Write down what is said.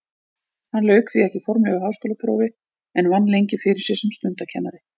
Hann lauk því ekki formlegu háskólaprófi en vann lengi fyrir sér sem stundakennari.